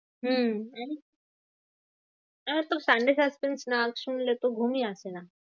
হম জানি। আমার তোর sunday suspense না শুনলে তো ঘুমই আসে না।